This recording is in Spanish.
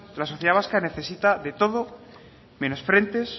la sociedad vasca necesita de todo menos frentes